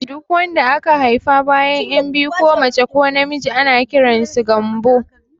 Duk wanda aka haifa bayan ƴan biyu ko mace ko na miji ana kiransu Gambo